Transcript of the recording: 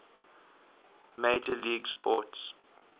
major league sports